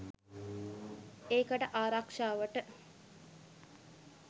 ඒකට ආරක්ෂාවට.